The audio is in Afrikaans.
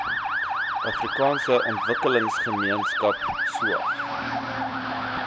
afrikaanse ontwikkelingsgemeenskap saog